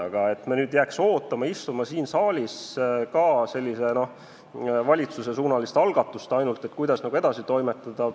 Aga me ei saa jääda nüüd istuma siin saalis ja ootama ainult valitsuse algatust, kuidas edasi toimetada.